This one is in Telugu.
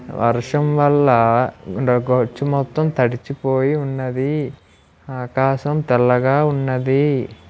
వర్షం వల్ల గచ్చు మొత్తం తడిచిపోయి ఉన్నది ఆకాశం తెల్లగా ఉన్నది.